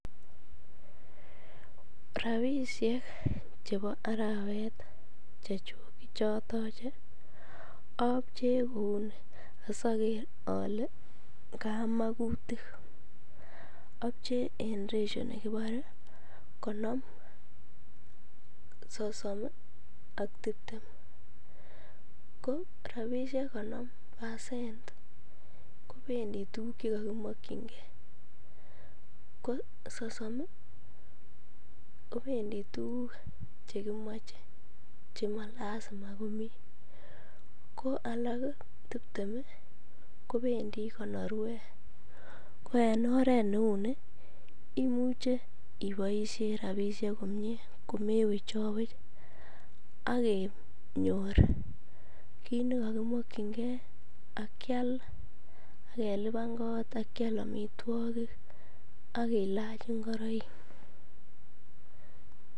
Rabishek chebo arawet chechuk chechuk chotoche obchee kouni asoker olee kamakutik, obchee en ratio nekibore konom, sosom ak tibtem, ko rabishek konom percent kobendi tukuk chekokimokyinge ko sosom kobendi tukuk chekimoche chemalasima komii, ko alak tibtem kobendi konorwet, ko en oreet neuni imuche iboishen rabishek komie komewech chowech ak kenyor kiit nekokimokyinge ak keliban koot ak kial amitwokik ak kilach ing'oroik.